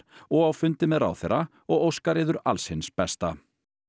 og á fundi með ráðherra og óskar yður alls hins besta